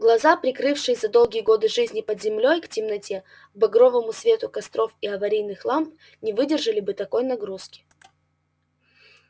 глаза привыкшие за долгие годы жизни под землёй к темноте к багровому свету костров и аварийных ламп не выдержали бы такой нагрузки